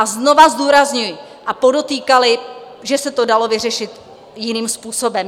A znovu zdůrazňuji - a podotýkali, že se to dalo vyřešit jiným způsobem.